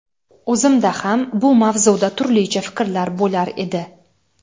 o‘zimda ham bu mavzuda turlicha fikrlar bo‘lar edi.